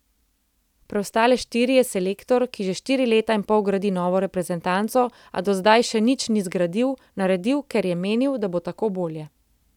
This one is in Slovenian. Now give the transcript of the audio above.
Preostale štiri je selektor, ki že štiri leta in pol gradi novo reprezentanco, a do zdaj še nič ni zgradil, naredil, ker je menil, da bo tako bolje.